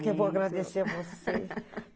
Mas eu que vou agradecer a você.